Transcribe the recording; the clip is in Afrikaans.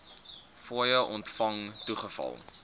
fooie ontvang toegeval